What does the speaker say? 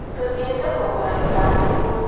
Tũthiĩte kũgũra ithandũkũ